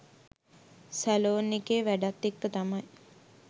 salon එකේ වැඩත් එක්ක තමයි